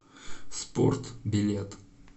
спорт билет